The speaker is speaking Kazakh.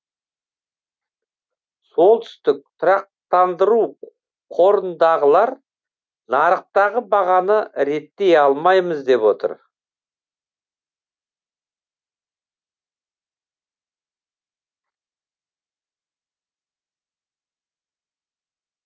солтүстік тұрақтандыру қорындағылар нарықтағы бағаны реттей алмаймыз деп отыр